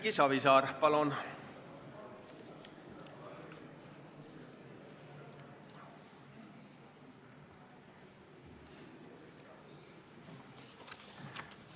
Erki Savisaar, palun!